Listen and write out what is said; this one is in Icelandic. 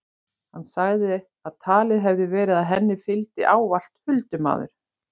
Hann sagði að talið hefði verið að henni fylgdi ávallt huldumaður.